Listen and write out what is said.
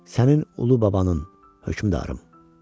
Sənin ulu babanın, hökmdarım.